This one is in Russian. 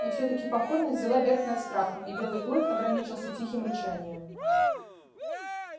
и всё-таки покорность взяла верх над страхом и белый клык ограничился тихим рычанием